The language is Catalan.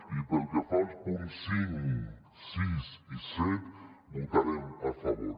i pel que fa als punts cinc sis i set hi votarem a favor